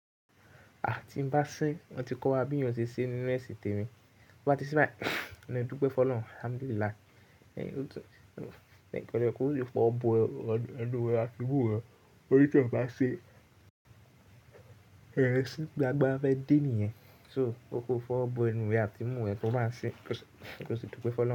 Àti bá ṣé, wọ́n ti kọ́ wa bí yóò ṣe ṣe nínú ẹ̀sì tèmi. Ó bá ti sín báyi mi ó dúpẹ́ fun Olọrun, alhamdulillah. Kẹ́ni kẹ́ni ọkọ̀ tí ó fi owọ̀ bọ ẹ, ẹnu rẹ àti imú rẹ, óní tí iwọ́ bá ṣin, ẹrẹ́ sín gbogbo agbara fẹ́ de nìyẹn. So o ko fọ̀wọ̀ bọ ẹnu rẹ àti imú rẹ tí o bá ṣin. Ẹni tí ó dúpẹ́ fun Olọrun.